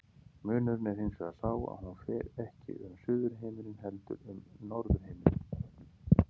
Munurinn er hins vegar sá að hún fer ekki um suðurhimininn heldur um norðurhimininn.